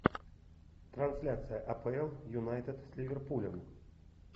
трансляция апл юнайтед с ливерпулем